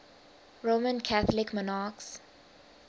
roman catholic monarchs